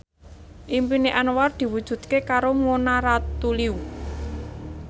impine Anwar diwujudke karo Mona Ratuliu